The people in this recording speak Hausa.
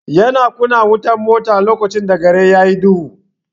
Ya na kunna wutar mota lokacn da gari yayi duhu.